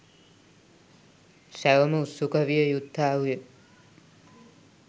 සැවොම උත්සුක විය යුත්තාහුය.